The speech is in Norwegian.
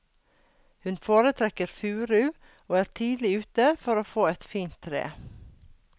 Hun foretrekker furu og er tidlig ute for å få et fint tre.